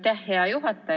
Aitäh, hea juhataja!